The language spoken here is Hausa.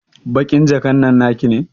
Baƙin jakan nan naki ne?